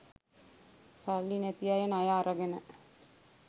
සල්ලි නැති අය ණය අරගෙන